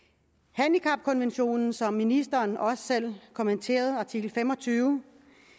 handicapkonventionen som ministeren også selv kommenterede artikel fem og tyve